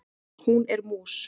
Hún er mús.